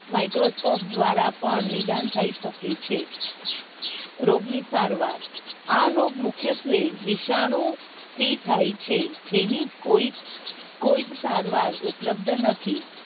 Microscope દ્વારા પણ નિદાન થઇ શકે છે રોગ ની સારવાર આ રોગ મુખ્યત્વે વિશાનુઓ થી થાય છે જેની કોઈ કોઈ જ સારવાર નથી